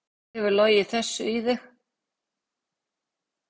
Hver hefur logið þessu í þig?